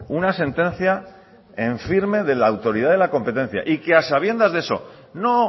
una sentencia en firme de la autoridad de la competencia y que a sabiendas de eso no